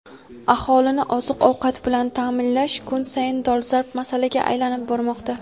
aholini oziq-ovqat bilan ta’minlash kun sayin dolzarb masalaga aylanib bormoqda.